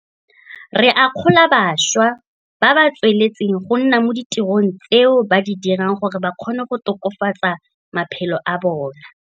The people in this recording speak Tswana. Re akgola bašwa ba ba tsweletseng go nna mo ditirong tseo ba di dirang gore ba kgone go tokafatsa matshelo a bona.